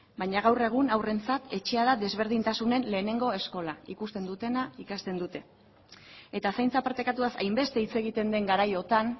baina gaur egun haurrentzat etxea da desberdintasunen lehenengo eskola ikusten dutena ikasten dute eta zaintza partekatuaz hainbeste hitz egiten den garaiotan